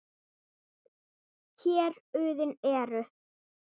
Héruðin eru